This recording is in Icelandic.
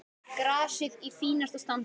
Grasið í fínasta standi.